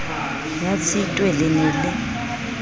ya tshitwe le ne le